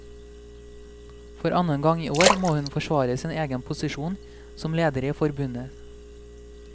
For annen gang i år må hun forsvare sin egen posisjon som leder i forbundet.